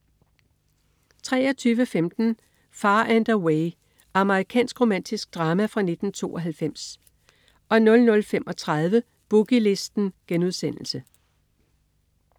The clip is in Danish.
23.15 Far and Away. Amerikansk romantisk drama fra 1992 00.35 Boogie Listen*